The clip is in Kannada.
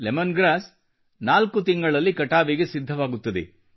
ಲೆಮನ್ ಗ್ರಾಸ್ 4 ತಿಂಗಳಲ್ಲಿ ಕಟಾವಿಗೆ ಸಿದ್ಧಗೊಳ್ಳುತ್ತದೆ